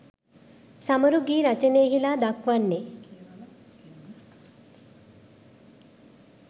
සමරු ගී රචනයෙහිලා දක්වන්නේ